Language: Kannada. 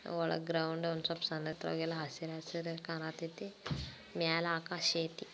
ಒಳಗ ಗ್ರೌಂಡ್ ಒನ್ ಸಪ್ ಸನಿತ್ವಾಗಿ ಅಲ್ಲ ಹಸಿರು ಹಸಿರು ಕಾಣಹತ್ತೈತಿ. ಮೇಲ್ ಆಕಾಶ ಅಯ್ತಿ.